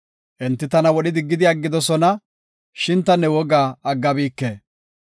Enti tana wodhi diggidi aggidosona; shin ta ne wogaa aggabike.